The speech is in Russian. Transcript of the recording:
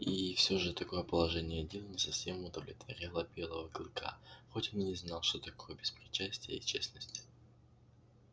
и все же такое положение дел не совсем удовлетворяло белого клыка хоть он и не знал что такое беспристрастие и честность